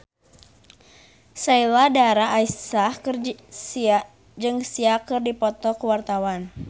Sheila Dara Aisha jeung Sia keur dipoto ku wartawan